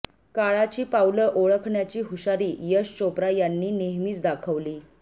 काळाची पावलं ओळखण्याची हुशारी यश चोप्रा यांनी नेहमीच दाखवली